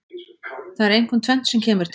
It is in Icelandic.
Það er einkum tvennt sem kemur til.